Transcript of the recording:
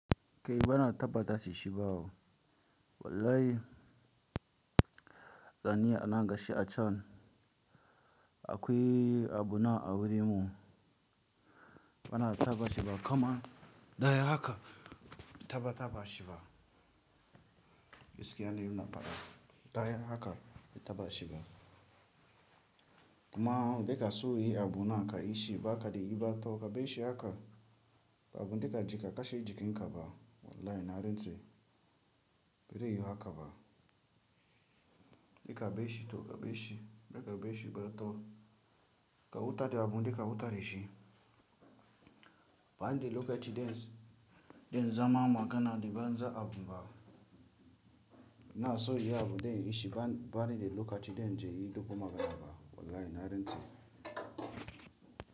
Kei bana tabbatar da shi shi ba wallahi gani anan gashi a can. Akwai abu na a wurin mu bana tabbata shi ba, kama daya haka tabbata ba shi ba. Gaskiya ne ina faɗa daya haka, tabbata ba shi ba. Kuma duka su yi abu na kayi shi baka da riba, to kabar shi haka abu duka jika kashe jikin ka ba wallahi na rantse Bere yiwu haka ba, duka bai shi to kabar shi. Duka bai shi bari to ka wuta ta abun duka wuta ta yi shi. Ban da lokacin den zama magana da banza abu ba. Na so yi abu dai in shi ba. Ban da lokacin den yayi duk makonaba wallahi na harin ce.